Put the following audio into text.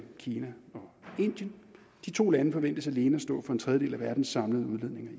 kina og indien de to lande forventes alene at stå for en tredjedel af verdens samlede udledninger i